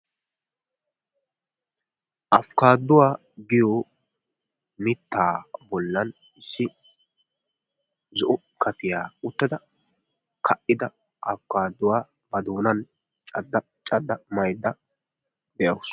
Afkaduwaa giyo mittaa bollan issi zo'o kafiyaa uttada ka''ida Afkaduwaa ba doonan cadda cadda maydda dawusu.